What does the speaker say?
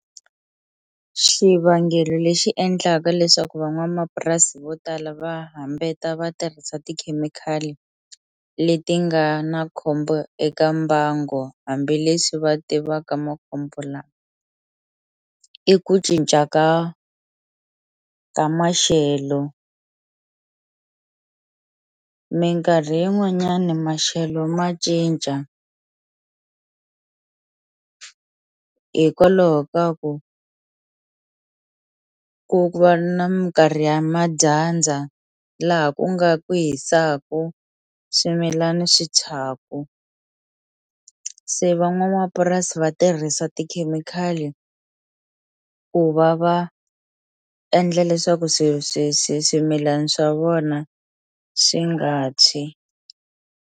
Xivangelo lexi endlaka leswaku van'wamapurasi vo tala va hambeta va tirhisa tikhemikhali leti nga na khombo eka mbango hambileswi va tivaka makhombo lama i ku cinca ka ka maxelo minkarhi yin'wanyani maxelo ma cinca hikwalaho ka ku ku va na minkarhi ya madyandza laha ku nga ku hisaku swimilani swi thyaku se van'wamapurasi va tirhisa tikhemikhali ku va va endla leswaku swi swi swi swimilani swa vona swi nga tshwi.